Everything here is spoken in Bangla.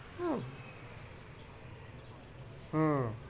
উহ হম